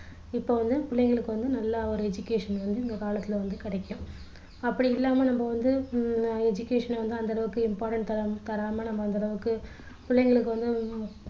இப்போ வந்து பிள்ளைங்களுக்கு வந்து நல்லா ஒரு education வந்து இந்த காலத்துல வந்து கிடைக்கும் அப்படி இல்லாம நம்ம வந்து உம் education அ வந்து அந்த அளவுக்கு important தராம நம்ம அந்த அளவுக்கு பிள்ளைங்களுக்கு வந்து